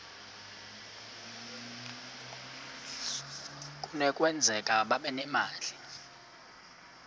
kunokwenzeka babe nemali